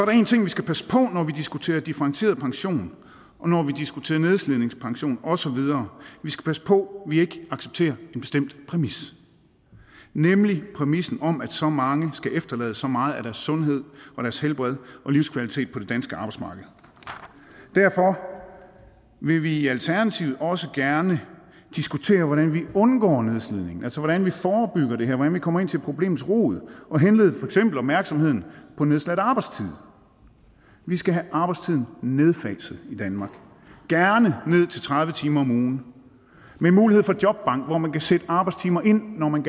én ting vi skal passe på når vi diskuterer differentieret pension og når vi diskuterer nedslidningspension og så videre vi skal passe på at vi ikke accepterer en bestemt præmis nemlig præmissen om at så mange skal efterlade så meget af deres sundhed og deres helbred og livskvalitet på det danske arbejdsmarked derfor vil vi i alternativet også gerne diskutere hvordan vi undgår nedslidning altså hvordan vi forebygger det her hvordan vi kommer ind til problemets rod og henlede opmærksomheden på nedsat arbejdstid vi skal have arbejdstiden i nedfaset gerne ned til tredive timer om ugen med mulighed for jobbank hvor man kan sætte arbejdstimer ind når man